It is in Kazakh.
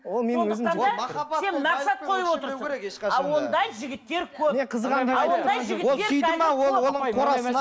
ол менің өзім ал ондай жігіттер көп